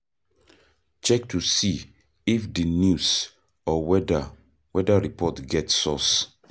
Check to see if di news or weather weather report get source